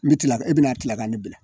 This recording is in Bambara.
N bɛ kila ka e bɛna kila ka ne bila